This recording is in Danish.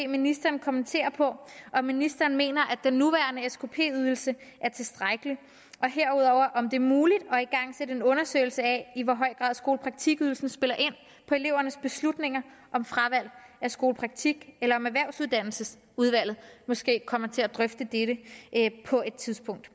ministeren kommentere på om ministeren mener at den nuværende skp ydelse er tilstrækkelig og herudover om det er muligt at igangsætte en undersøgelse af i hvor høj grad skolepraktikydelsen spiller ind på elevernes beslutninger om fravalg af skolepraktik eller om erhvervsuddannelsesudvalget måske kommer til at drøfte dette på et tidspunkt